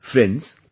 Friends,